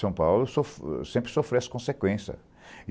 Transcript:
São Paulo sofre sempre sofreu as consequência.